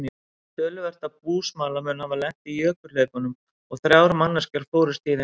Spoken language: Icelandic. Töluvert af búsmala mun hafa lent í jökulhlaupunum og þrjár manneskjur fórust í þeim.